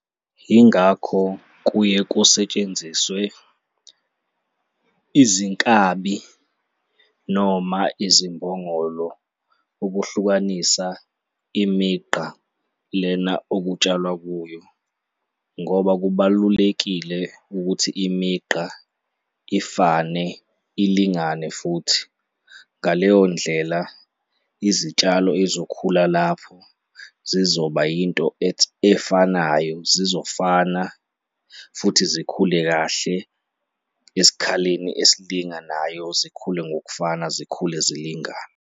Yingakho kuye kusetshenziswe izinkabi noma izimbongolo ukuhlukanisa imigqa lena okutshalwa kuyo ngoba kubalulekile ukuthi imigqa ifane, ilingane futhi. Ngaleyo ndlela, izitshalo ezikhula lapho zizoba yinto efanayo, zizofana futhi zikhule kahle esikhaleni esilinganayo, zikhule ngokufana, zikhule zilingane.